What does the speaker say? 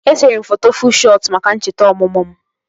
Esere m foto fuu shọt maka ncheta ọmụmụ m